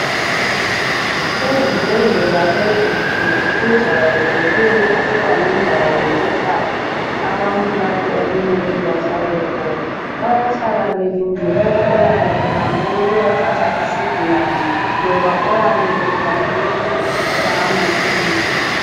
Ezibhedlela ezinkulu kujayeleke ukuba lendawo yokuhlala abantu lapho okumele bahlale khona. Bayahla belinde oyabe ehambe ukuyathatha isigulane loba oyabe elande ukuzothatha amaphilisi.